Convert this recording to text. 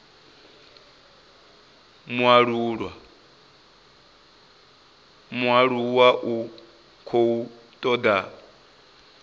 mualuwa u khou toda u